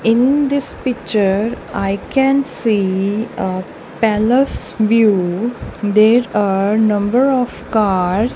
in this picture i can see ah palace view there are number of cars--